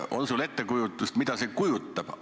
On sul ettekujutust, mida see endast kujutab?